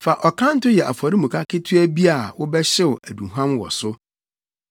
“Fa ɔkanto yɛ afɔremuka ketewa bi a wobɛhyew aduhuam wɔ so.